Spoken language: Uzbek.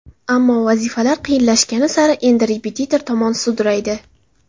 Ammo vazifalar qiyinlashgani sari endi repetitor tomon sudraydi.